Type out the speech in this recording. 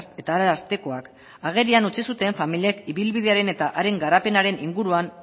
eta arartekoak agerian utzi zuten familiek ibilbidearen eta haren garapenaren inguruan